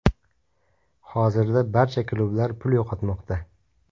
Hozirda barcha klublar pul yo‘qotmoqda.